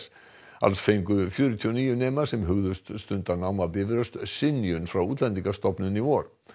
alls fengu fjörutíu og níu nemar sem hugðust stunda nám á Bifröst synjun frá Útlendingastofnun í vor